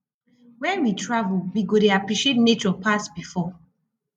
when we travel we go dey appreciate nature pass before